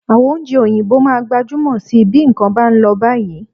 Àwọn oúnjẹ òyìnbó máa gbajúmọ̀ síi bí nǹkan bá ń lọ báyìí